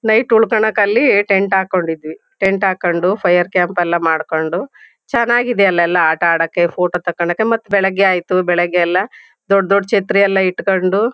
Night ಉಳ್ಕೊಳಕ್ ಅಲ್ಲಿ tent ಹಾಕೊಂಡಿದ್ವಿ. ಟೆಂಟ್ ಹಾಕೊಂಡು ಫೈರ್ ಕ್ಯಾಂಪ್ ಎಲ್ಲಾ ಮಾಡ್ಕೊಂಡು ಚೆನ್ನಾಗಿದೆ ಅಲ್ ಎಲ್ಲಾ ಆಟ ಅಡಕ್ಕೆ ಫೋಟೋ ತಕೋಳಕ್ಕೆ ಮತ್ ಬೆಳಗ್ಗೆ ಆಯತು. ಬೆಳಗ್ಗೆ ಎಲ್ಲಾ ದೊಡ್ಡ್ ದೊಡ್ಡ್ ಛತ್ರಿ ಎಲ್ಲಾ ಇಟ್ಕೊಂಡು--